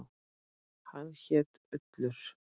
Hann hét Ullur.